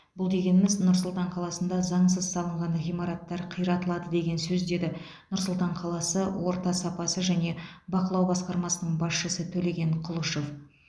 бұл дегеніміз нұр сұлтан қаласында заңсыз салынған ғиматтар қиратылады деген сөз деді нұр сұлтан қаласы орта сапасы және бақылау басқармасының басшысы төлеген құлышов